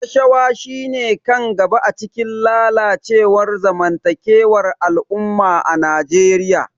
Rashawa shine kan gaba a cikin lalacewar zamantakewar al'umma a Najeriya.